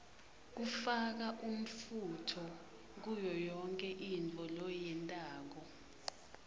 kufaka umfunto kuyoyonkhe intfo loyentako